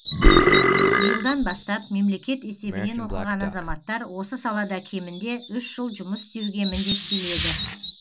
биылдан бастап мемлекет есебінен оқыған азаматтар осы салада кемінде үш жыл жұмыс істеуге міндеттеледі